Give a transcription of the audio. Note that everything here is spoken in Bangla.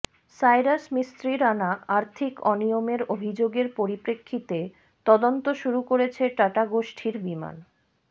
সাইরাস মিস্ত্রির আনা আর্থিক অনিয়মের অভিযোগের পরিপ্রেক্ষিতে তদন্ত শুরু করেছে টাটা গোষ্ঠীর বিমান